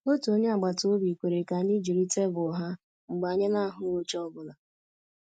Otu onye agbata obi kwere ka anyị jiri tebụl ha mgbe anyị na-ahụghị oche ọ bụla